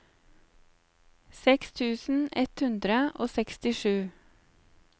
seks tusen ett hundre og sekstisju